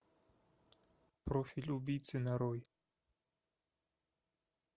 профиль убийцы нарой